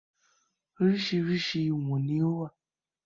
Oríṣiríṣi ìwọ̀n ni ó wà